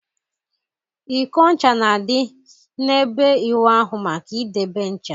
Iko ncha na-adị n'ebe ịwụ ahụ maka idebe ncha.